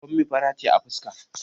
Bommi fara ce a fuska